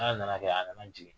Ala nana kɛ a nana jigin.